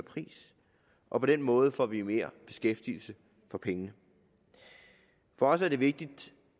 pris og på den måde får vi mere beskæftigelse for pengene for os er det vigtigt